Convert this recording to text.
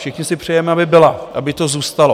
Všichni si přejeme, aby byla, aby to zůstalo.